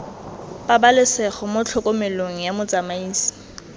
pabalesego mo tlhokomelong ya motsamaisi